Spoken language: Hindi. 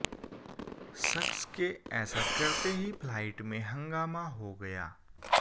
शख्स के ऐसा करते ही फ्लाइट में हंगामा हो गया